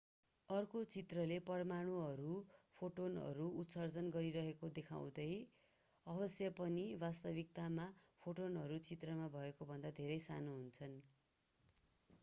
अर्को चित्रले परमाणुहरूले फोटोनहरू उत्सर्जन गरिरहेको देखाउँदछ अवश्य पनि वास्तविकतामा फोटोनहरू चित्रमा भएकोभन्दा धेरै साना हुन्छन्